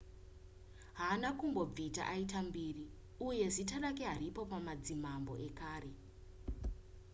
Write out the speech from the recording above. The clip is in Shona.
haana kumbobvita aita mbiri uye zita rake haripo pamadzimambo ekare